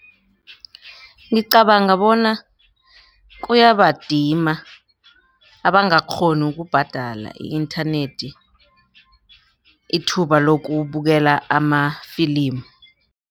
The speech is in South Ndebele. Ngicabanga bona kuyabadima abangakghoni ukubhadala i-internet ithuba lokubukela amafilimu.